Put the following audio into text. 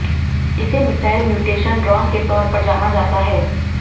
इसे missile mutation drone के तौर पर जाना जाता है